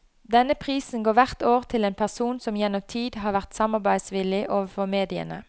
Denne prisen går hvert år til en person som gjennom tid har vært samarbeidsvillig overfor mediene.